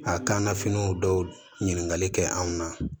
A kan nafiniw dɔw ɲininkali kɛ anw na